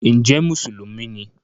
ǹjẹ́ “mùsùlùmí” ni?